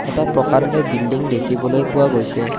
এটা প্ৰকাণ্ড বিল্ডিং দেখিবলৈ পোৱা গৈছে।